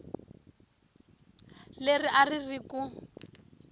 leri a ri ri ku